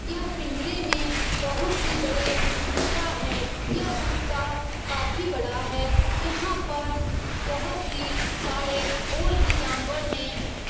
यह पिंजरे में बहुत ही बड़े कुत्ता है। यह कुत्ता काफी बड़ा है। यहाँ पर बहुत ही सारे और भी जानवर हैं।